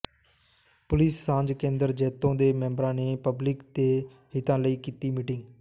police ਸਾਂਝ ਕੇਂਦਰ ਜੈਤੋ ਦੇ ਮੈਂਬਰਾਂ ਨੇ ਪਬਲਿਕ ਦੇ ਹਿੱਤਾਂ ਲਈ ਕੀਤੀ ਮੀਟਿੰਗ